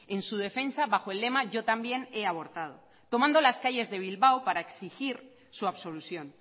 en su defensa bajo el lema yo también he abortado tomando las calles de bilbao para exigir su absolución